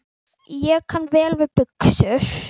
Ég kann vel við buxur.